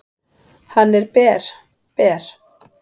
"""Hann er ber, ber."""